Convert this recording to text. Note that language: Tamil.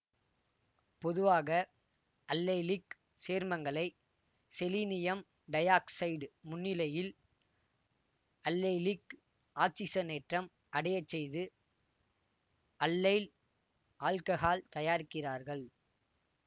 பொதுவாக அல்லைலிக் சேர்மங்களை செலினியம் டையாக்சைடு முன்னிலையில் அல்லைலிக் ஆக்சிசனேற்றம் அடைய செய்து அல்லைல் ஆல்ககால் தயாரிக்கிறார்கள்